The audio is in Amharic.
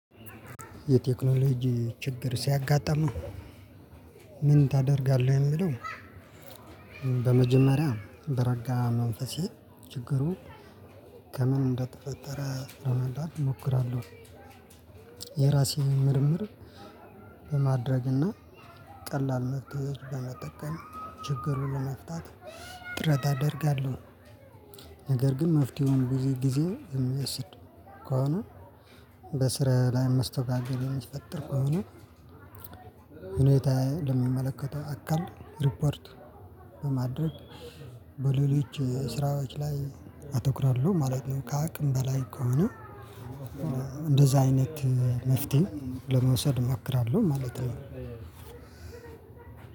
የቴክኖሎጂ ችግር ሲያጋጥመው? ምን ታደርጋለህ የሚለው በመጀመሪያ በረጋ መንፈሴ ችግሩን ከምን እንደተፈጠረ ለመምረት እሞክራለሁ። የራሴን ምርምር በማድረግና ቀላል መፍትሄዎች በመጠቀም ችግር ለመፍታት ጥረት አደርጋለሁ። ነገር ግን መፍትሄውን ብዙ ጊዜ የሚወስድ ከሆነ በስራ ላይ መስተጓገል የሚፈጠር ከሆነ። ሁኔታዬን ለሚመለከተው አካል ሪፖርት በማድረግ በሌሎች ስራዎች ላይ አተኩራለሁ ማለቴም ከአቅም በላይ ከሆነ። እንደዛ አይነት መፍትሄ ለመውሰድ እሞክራለሁ ማለት ነው።